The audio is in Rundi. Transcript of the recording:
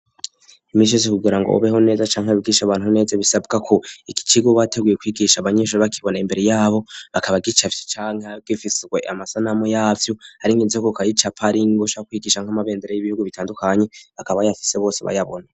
Imisi yose kugira ngo ubeho neza canke wigishe abantu neza, bisabwa ko ico cirwa uba wateguye kwigisha abanyeshuri bakibona imbere yabo, akaba agicafye canke gifiswe amasanamu yavyo, ari nk'inzoka ukayicapa, ar'ingwe, ushaka kwigisha nk'amabendera y'ibihugu bitandukanye bakaba bayafise bose bayabona.